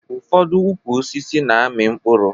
Ụfọdụ ukwu osisi na-amị mkpụrụ